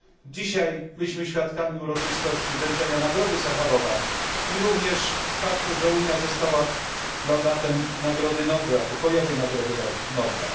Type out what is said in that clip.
Dzisiaj byliśmy świadkami uroczystości wręczenia nagrody Sacharowa i również faktu, iż Unia została laureatem Pokojowej Nagrody Nobla.